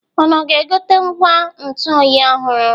Unu ga-egote ngwa ntụ oyi ọhụrụ?